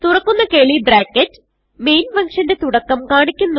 തുറക്കുന്ന curly bracket main ഫങ്ഷന്റെ തുടക്കം കാണിക്കുന്നു